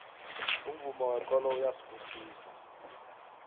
umvumo wekolo uyabusisana